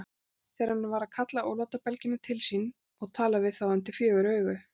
Þegar hann er að kalla ólátabelgina til sín og tala við þá undir fjögur augu.